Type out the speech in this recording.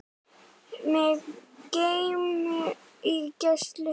Mig geym í gæslu þinni.